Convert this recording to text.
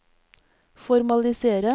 formalisere